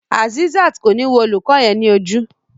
Azeezat ko ni wo olùkọ yẹn ni ojú.